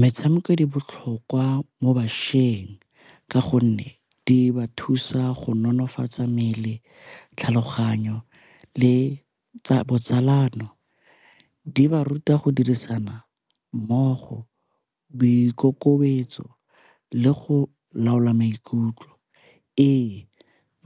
Metshameko di botlhokwa mo bašweng ka gonne di ba thusa go nonofatsa mmele, tlhaloganyo le tsa botsalano. Di ba ruta go dirisana mmogo, boikokobetso le go laola maikutlo. Ee,